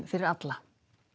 fyrir alla